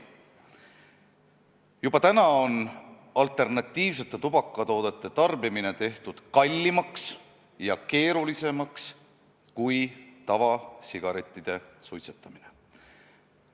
Juba täna on alternatiivsete tubakatoodete tarbimine tehtud kallimaks ja keerulisemaks kui tavasigarettide suitsetamine.